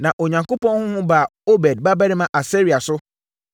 Na Onyankopɔn honhom baa Oded babarima Asaria so,